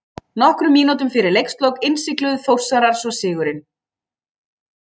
Nokkrum mínútum fyrir leikslok innsigluðu Þórsarar svo sigurinn.